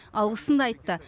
алғысын да айтты